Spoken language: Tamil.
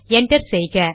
என்டர் செய்க